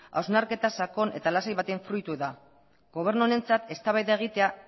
hausnarketa sakon eta lasai batean fruitu da gobernu honentzat eztabaida egitea